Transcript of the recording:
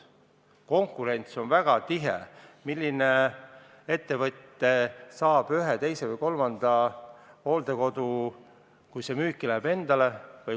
Konkurents on väga tihe, paljud ettevõtted tahavad omandada ühe, teise või kolmanda hooldekodu, kui see müüki läheb.